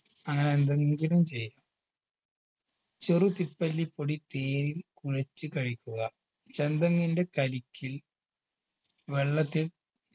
അങ്ങനെ എന്തെങ്കിലും ചെയ്യാം ചെറു തിപ്പല്ലിപ്പൊടി തേനിൽ കുഴച്ച് കഴിക്കുക ചെന്തെങ്ങിന്റെ കരിക്കിൽ